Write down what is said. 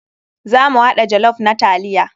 Za mu haɗa jollof na taliya.